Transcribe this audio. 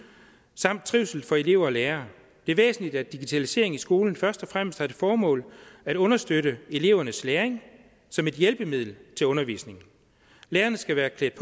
samt trivsel for elever og lærere det er væsentligt at digitalisering i skolen først og fremmest har til formål at understøtte elevernes læring som et hjælpemiddel til undervisningen lærerne skal være klædt